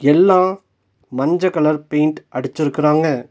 எல்லா மஞ்ச colour paint அடிச்சிருக்கராங்க.